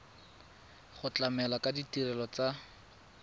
go tlamela ka ditirelo tsa